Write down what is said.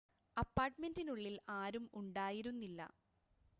അപ്പാർട്ട്മെൻ്റിനുള്ളിൽ ആരും ഉണ്ടായിരുന്നില്ല